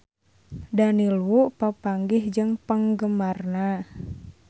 Daniel Wu papanggih jeung penggemarna